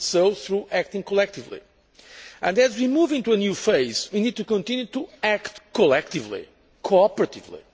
It did so through acting collectively, and as we move into a new phase, we need to continue to act collectively, cooperatively.